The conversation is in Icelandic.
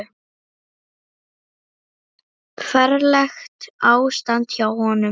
Ferlegt ástand hjá honum.